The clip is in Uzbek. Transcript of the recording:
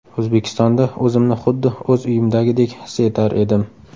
O‘zbekistonda o‘zimni xuddi o‘z uyimdagidek his etar edim”.